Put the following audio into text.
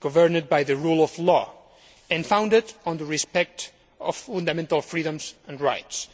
governed by the rule of law and founded on the respect of fundamental freedoms and rights,